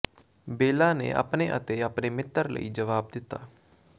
ਬੇਲਾ ਨੇ ਆਪਣੇ ਅਤੇ ਆਪਣੇ ਮਿੱਤਰ ਲਈ ਜਵਾਬ ਦਿੱਤਾ